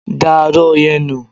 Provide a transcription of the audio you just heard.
Da aró yẹn nù!